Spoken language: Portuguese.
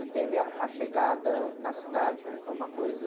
E teve ah, a chegada na cidade que foi uma coisa...